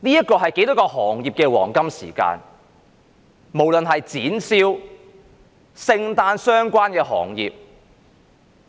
這是多少行業的黃金時間，例如展銷、與聖誕相關的行業等。